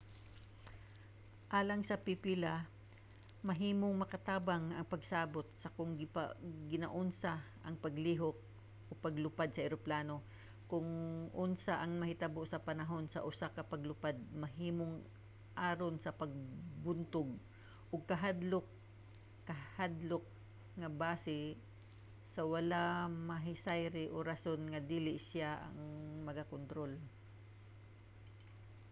alang sa pipila mahimong makatabang ang pagsabot sa kon ginaunsa ang paglihok/paglupad sa eroplano ug kon unsa ang mahitabo sa panahon sa usa ka paglupad mahimong aron sa pagbuntog og hakadlok kahadlok nga base sa wala nahisayri o sa rason nga dili siya ang nagakontrol